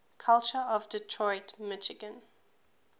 culture of detroit michigan